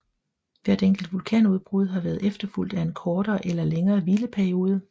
Hvert enkelt vulkanudbrud har været efterfulgt af en kortere eller længere hvileperiode